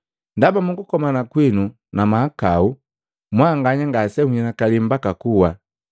Ndaba mu kukomana kwinu na mahakau, mwanganya ngase nhinakali mbaka kuwa.